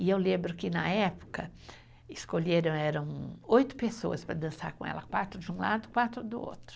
E eu lembro que, na época, escolheram, eram oito pessoas para dançar com ela, quatro de um lado, quatro do outro.